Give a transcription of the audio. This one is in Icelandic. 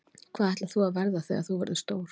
Hvað ætlar þú að verða þegar þú verður stór?